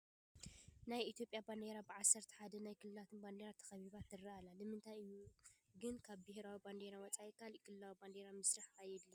ናይ ኢትዮጵያ ባንዴራ ብዓሰርተ ሓደ ናይ ክልላት ባንዴራ ተኸቢባ ትርአ ኣላ፡፡ ንምንታይ እዩ ግን ካብ ሃገራዊ ባንዴራ ወፃኢ ካልእ ክልላዊ ባንዴራታት ምስራሕ ኣድልዩ?